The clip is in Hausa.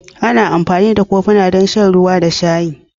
Ana amfani da kofuna don shan ruwa da sha'i.